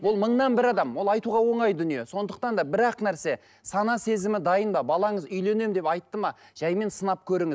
ол мыңнан бір адам ол айтуға оңай дүние сондықтан да бір ақ нәрсе сана сезімі дайын ба балаңыз үйленемін деп айтты ма жаймен сынап